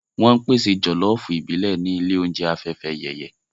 Wọ́n ń pèsè jọ̀lọ́ọ̀fù ìbílẹ̀ ní ilé oúnjẹ Afẹ́fẹ́yẹyẹ